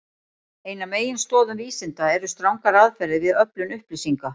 Ein af meginstoðum vísinda eru strangar aðferðir við öflun upplýsinga.